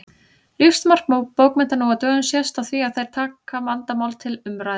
Lífsmark bókmennta nú á dögum sést á því að þær taka vandamál til umræðu.